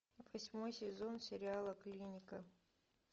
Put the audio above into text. восьмой сезон сериала клиника